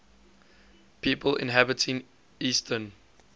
people inhabiting eastern